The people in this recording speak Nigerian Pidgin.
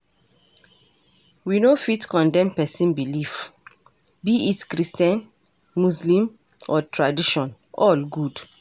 We no fit condemn pesin belief, be it christian, muslem or tradition, all good.